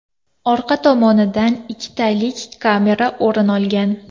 Orqa tomonidan ikkitalik kamera o‘rin olgan.